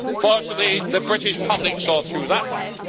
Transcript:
Fortunately the British public saw through that one.